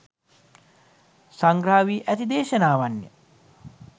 සංග්‍රහ වී ඇති දේශනාවන්ය.